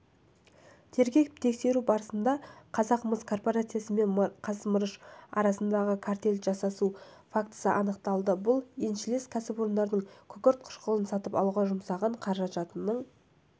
тергеп-тексеру барысында қазақмыс корпорациясы мен қазмырыш арасында картель жасасу фактісі анықталды бұл еншілес кәсіпорнының күкірт қышқылын сатып алуға жұмсаған қаражатының